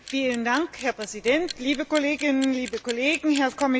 Herr Präsident, liebe Kolleginnen, liebe Kollegen, Herr Kommissar!